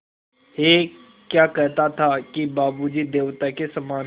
ऐं क्या कहता था कि बाबू जी देवता के समान हैं